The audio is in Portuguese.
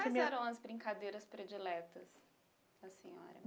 Quais eram as brincadeiras prediletas da senhora?